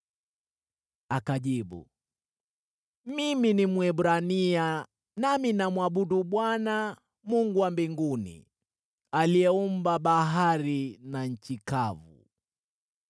Akajibu, “Mimi ni Mwebrania, nami namwabudu Bwana , Mungu wa Mbinguni, aliyeumba bahari na nchi kavu.”